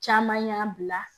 Caman y'a bila